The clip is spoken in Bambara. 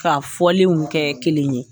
Ka fɔlenw kɛ kelen ye